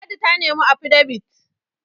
ladi ta nemi afidabit?